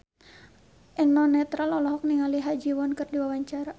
Eno Netral olohok ningali Ha Ji Won keur diwawancara